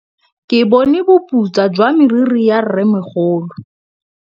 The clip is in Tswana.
Ke bone boputswa jwa meriri ya rrêmogolo.